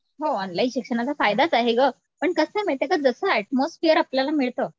हो ऑनलाईन शिक्षणाचा फायदाच आहे गं पण कसं आहे माहितीये का जसं अटमोस्फियर आपल्याला मिळतं